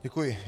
Děkuji.